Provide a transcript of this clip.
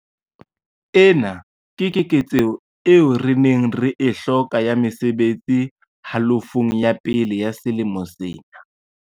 Ena ke keketseho eo re neng re e hloka ya mesebetsi halofong ya pele ya selemo sena.